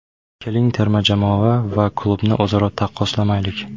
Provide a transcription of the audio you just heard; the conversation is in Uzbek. Keling terma jamoa va klubni o‘zaro taqqoslamaylik.